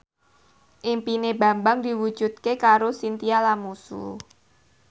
impine Bambang diwujudke karo Chintya Lamusu